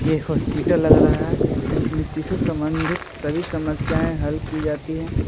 ये हॉस्पिटल लग रहा है इसमें सिसु सम्बंधित सभी समस्याएं हल की जाती हैं।